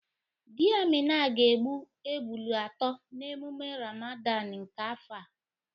Di Amina ga-egbu ebụlu atọ n'emume Ramadan nke afọ a.